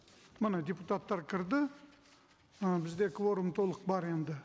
міне депутаттар кірді ы бізде кворум толық бар енді